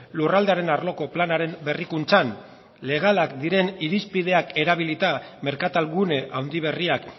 lurraldearen arloko planaren berrikuntzan legalak diren irizpideak erabilita merkatal gune handi berriak